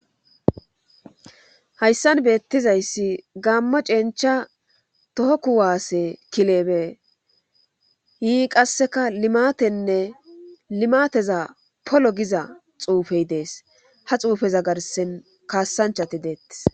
Hayssan beettizayssi gammo cencha toho ku waasse kilebe yii qasseka limatenne limateza polo giza xuufey dees ha xuufeza garsen kaassanchati deettes